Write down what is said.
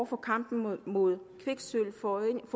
for kampen mod mod kviksølvforurening